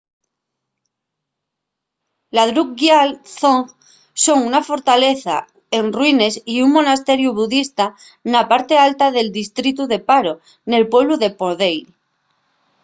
la drukgyal dzong son una fortaleza en ruines y un monasteriu budista na parte alta del distritu de paro nel pueblu de phondey